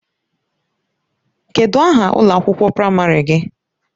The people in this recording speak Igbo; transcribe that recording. Kedụ aha ụlọ akwụkwọ praịmarị gị?